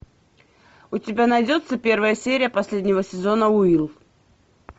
у тебя найдется первая серия последнего сезона уилл